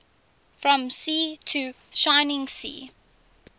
from sea to shining sea